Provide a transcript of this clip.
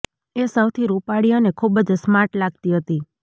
એ સૌથી રૂપાળી અને ખૂબ જ સ્માર્ટ લાગતી હતી